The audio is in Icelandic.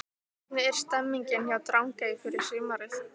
Hvernig er stemningin hjá Drangey fyrir sumarið?